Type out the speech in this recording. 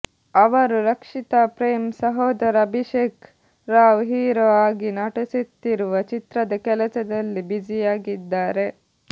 ಅವರು ರಕ್ಷಿತಾ ಪ್ರೇಮ್ ಸಹೋದರ ಅಭಿಷೇಕ್ ರಾವ್ ಹೀರೋ ಆಗಿ ನಟಿಸುತ್ತಿರುವ ಚಿತ್ರದ ಕೆಲಸದಲ್ಲಿ ಬ್ಯುಸಿಯಾಗಿದ್ದಾರೆ